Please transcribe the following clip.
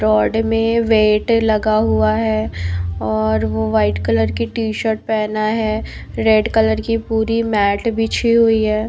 Rod मे weight लगा हुआ है और वो व्हाइट कलर की ट -शर्ट पहना है रेड कलर की पूरी मॅट बिछी हुई है।